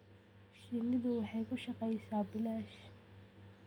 Shinnidu waxay ku shaqaysaa bilaash.